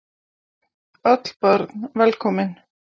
Öll börn velkomin.